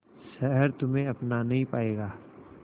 शहर तुम्हे अपना नहीं पाएगा